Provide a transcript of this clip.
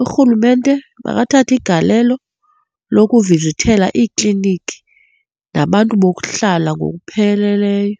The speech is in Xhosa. Urhulumente makathathe igalelo lokuvizithela iikliniki nabantu bokuhlala ngokupheleleyo.